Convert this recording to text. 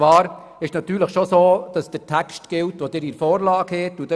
Es ist natürlich schon so, dass der Text gilt, den Sie in der Vorlage haben.